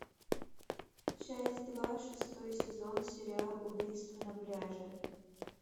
часть два шестой сезон сериал убийство на пляже